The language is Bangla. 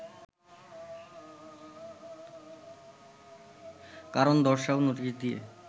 কারণ দর্শাও নোটিশ দিয়ে